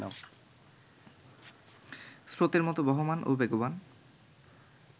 স্রোতের মতো বহমান ও বেগবান